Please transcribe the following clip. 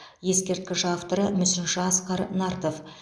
ескерткіш авторы мүсінші асқар нартов